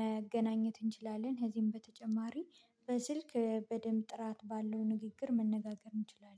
መገናኘት እንችላለን። ከዚህም በተጨማሪ በስልክ በደንብ ጥራት ባለው ንግግር መነጋገር እንችላለን